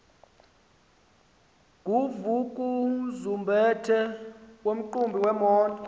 nguvukuzumbethe nomqhubi wemoto